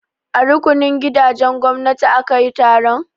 A rukunin gidajen gwamnati aka yi taron?